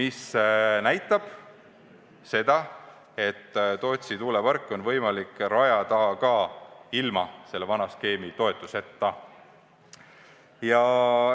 See näitab seda, et Tootsi tuuleparki on võimalik rajada ka ilma selle vana skeemi toetuseta.